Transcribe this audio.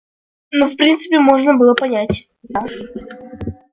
ну в принципе можно было понять да